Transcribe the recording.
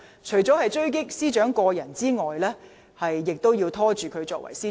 除了要狙擊司長個人外，亦要拖延她的職務。